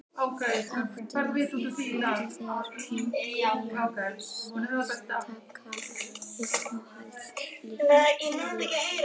Magnús: Áttu þér einhverja sérstaka uppáhalds liti?